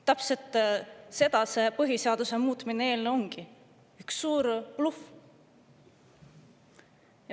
Täpselt seda see põhiseaduse muutmise eelnõu ongi, üks suur bluff.